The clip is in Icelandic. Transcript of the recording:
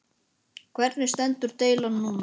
Helga: Hvernig stendur deilan núna?